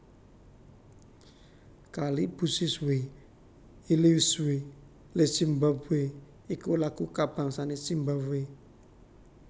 Kalibusiswe Ilizwe leZimbabwe iku lagu kabangsané Zimbabwe